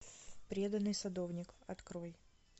преданный садовник открой